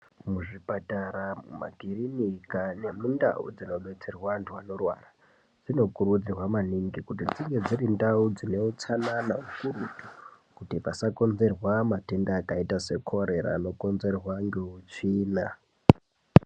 Kuzvipatara makirinika nemundau dzinobatsirwa antu anorwara zvino kurudzirwa maningi kuti ndinge dzirindau dzine utsanana kakurutu kuti pasakonzerwa matenda akaita sana korera anokonzerwa neutsvina.